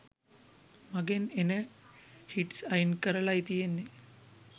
මගෙන් එන හිට්ස් අයින් කරලායි තියෙන්නේ.